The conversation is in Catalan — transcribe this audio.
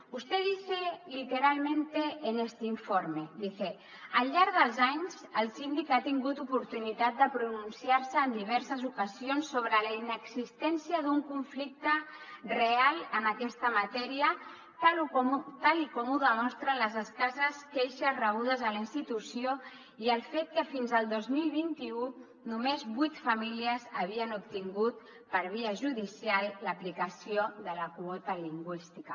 usted dice literalmente en este informe dice al llarg dels anys el síndic ha tingut oportunitat de pronunciar se en diverses ocasions sobre la inexistència d’un conflicte real en aquesta matèria tal com ho demostren les escasses queixes rebudes a la institució i el fet que fins al dos mil veinte un només vuit famílies havien obtingut per via judicial l’aplicació de la quota lingüística